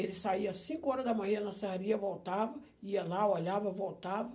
Ele saía às cinco horas da manhã na serraria, voltava, ia lá, olhava, voltava.